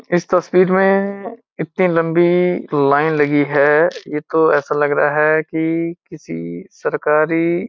इस तस्वीर में म इतनी लंबी लाइन लगी है ये तो ऐसा लग रहा है कि किसी सरकारी --